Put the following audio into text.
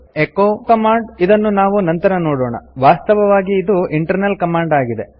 echo command ಇದನ್ನು ನಾವು ನಂತರ ನೋಡೋಣ ವಾಸ್ತವವಾಗಿ ಇದು ಇಂಟರ್ನಲ್ ಕಮಾಂಡ್ ಆಗಿದೆ